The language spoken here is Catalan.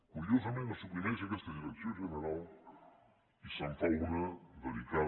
curiosament se suprimeix aquesta direcció general i se’n fa una dedicada